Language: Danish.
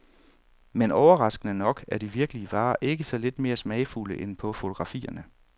Men overraskende nok er de virkelige varer ikke så lidt mere smagfulde end på fotografierne.